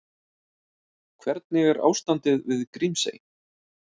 En hvernig er ástandið við Grímsey?